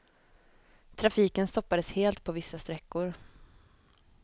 Trafiken stoppades helt på vissa sträckor.